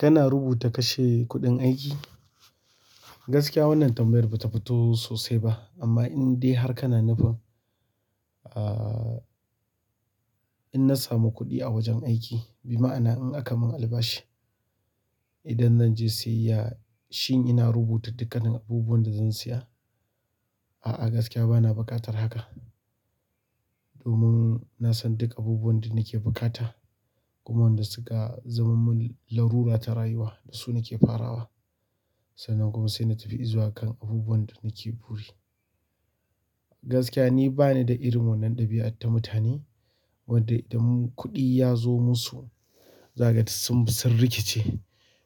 Kana rubuta kashe kuɗin aiki? Gaskiya wannan tambayar ba ta fito sosai ba amma in dai har kana nufin, ah, in na samu kuɗi a wajen aiki, bima'ana in aka mun albashi idan zan je siyayya shin ina rubuta dukkanin abubuwan da zan siya? A'a gaskiya bana buƙatar haka. Domin na san duk abubuwan da nake buƙata, kuma wanda suka zama mun larura ta rayuwa da su nake farawa. Sannan kuma saina tafi izuwa kan abubuwan da nake buri gaskiya ni banida irin wannan ɗabi'ar irin ta mutane wanda kuɗi yazo musu zakaga duk sunbi sun rikice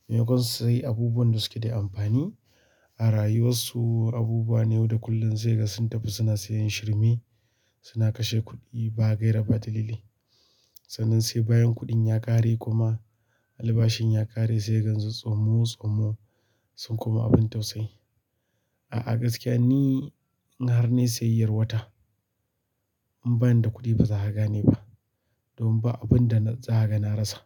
maimakon su sayi abubuwan da suke da amfani a rayuwar su, abubuwa ne wanda kullum saikaga sun tafi suna sayan shirme, suna kashe kuɗi ba gaira ba dalili. Sannan sai bayan kuɗin ya ƙare kuma albashin ya ƙare sai gansu tsomo tsomo sun koma abun tausayi. A'a gaskiya ni in har nayi siyayyar wata in bani da kuɗi ba zaka gane ba. Domin ba abun da na tsara na rasa.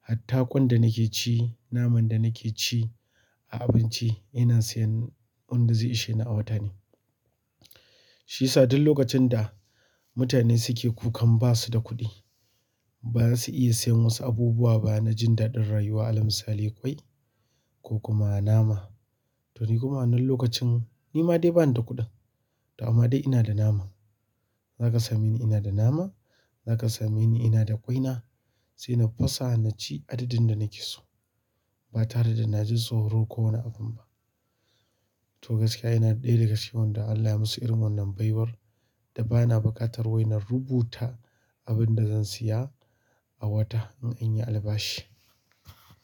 Hatta ƙwan da nake ci, naman da nake ci a abinci ina sayan wanda zai ishe ni a wata ne. Shi sa duk lokacin da mutane suke kukan basu da kuɗi ba su iya siyan wasu abubuwa ba na jin daɗin rayuwa. Alal misali ƙwai ko kuma nama. To ni kuma wannan lokacin ni ma dai bani da kuɗin to amma dai ina da naman. Zaka same ni ina da nama, zaka same ni ina da ƙwaina. Sai na fasa naci adadin da nake so ba tare da na ji tsoro ko wani abun ba. To gaskiya ina ɗaya daga cikin wanda Allah ya musu irin wannan baiwar da bana buƙatar wai na rubuta abun da zan siya a wata in anyi albashi.